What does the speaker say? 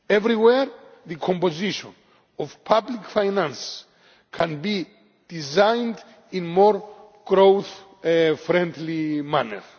Everywhere, the composition of public finance can be designed in a more growth friendly manner.